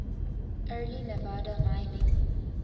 early nevada mining